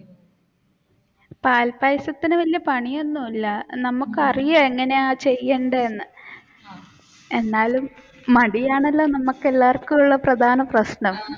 പാൽ പായസത്തിന് വല്യ പണി ഒന്നുമില്ല നമുക്ക് അറിയ എങ്ങനെയാ ചെയ്യേണ്ടതെന്ന് എന്നാലും മടിയാണല്ലോ നമുക്കെല്ലാവർക്കും ഉള്ള പ്രധാന പ്രശ്നം.